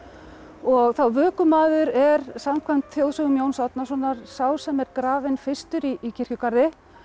og vökumaður er samkvæmt þjóðsögum Jóns Árnasonar sá sem er grafinn fyrstur í kirkjugarði